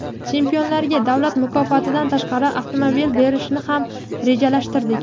Chempionlarga davlat mukofotidan tashqari avtomobil berishni ham rejalashtirdik.